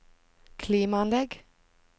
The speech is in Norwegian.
klimaanlegg